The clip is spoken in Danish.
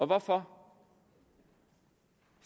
hvorfor